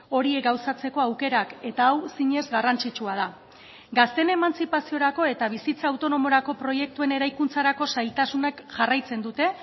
horiek gauzatzeko aukerak eta hau zinez garrantzitsua da gazteen emantzipaziorako eta bizitza autonomorako proiektuen eraikuntzarako zailtasunak jarraitzen dute